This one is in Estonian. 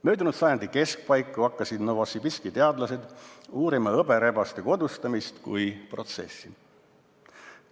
"Möödunud sajandi keskpaiku hakkasid Novosibirski teadlased uurima rebaste, täpsemini hõberebaste kodustamist kui protsessi.